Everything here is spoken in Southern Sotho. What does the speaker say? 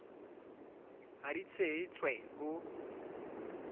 ha di tshehe tswe ho